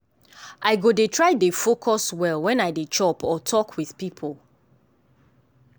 i go dey try dey focus well when i dey chop or talk with people.